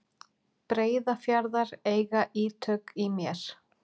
Breiðafjarðar eiga ítök í mér.